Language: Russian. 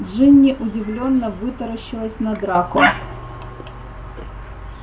джинни удивлённо вытаращилась на драко